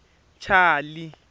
chali